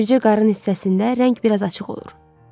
Bircə qarın hissəsində rəng biraz açıq olur.